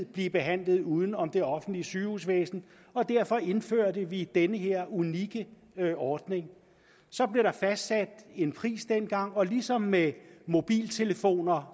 blive behandlet uden om det offentlige sygehusvæsen og derfor indførte vi den her unikke ordning så blev der fastsat en pris dengang og ligesom med mobiltelefoner